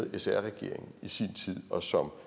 i sr regeringen i sin tid og som